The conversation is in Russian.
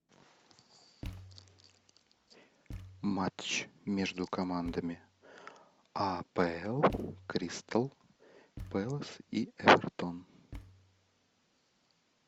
матч между командами апл кристал пэлас и эвертон